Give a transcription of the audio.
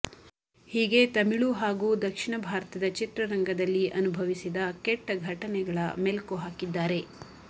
ಹೀಗೆ ತಮಿಳು ಹಾಗೂ ದಕ್ಷಿಣ ಭಾರತದ ಚಿತ್ರರಂಗದಲ್ಲಿ ಅನುಭವಿಸಿದ ಕೆಟ್ಟ ಘಟನೆಗಳ ಮೆಲುಕು ಹಾಕಿದ್ದಾರೆ